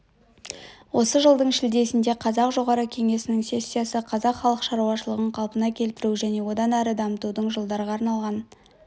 осы жылдың шілдесінде қазақ жоғарғы кеңесінің сессиясы қазақ халық шаруашылығын қалпына келтіру және одан әрі дамытудың жылдарға арналған